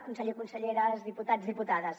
conseller conselleres diputats diputades